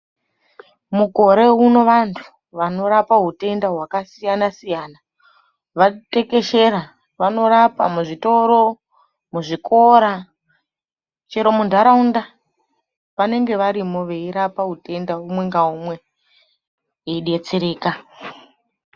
Mukore uno, vantu vanorapa hutenda hwakasiyana-siyana vatekeshera. Vanorapa muzvitoro, muzvikora, chero muntaraunda, vanenge varimo veirapa utenda umwe ngaumwe veidetsereka.